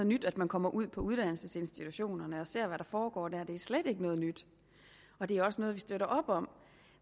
nyt at man kommer ud på uddannelsesinstitutionerne og ser hvad der foregår der det er slet ikke noget nyt og det er også noget vi støtter op om